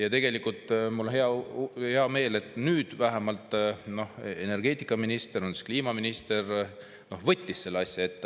Ja mul on hea meel, et nüüd vähemalt energeetikaminister, siis kliimaminister, võttis selle asja ette.